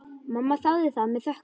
Mamma þáði það með þökkum.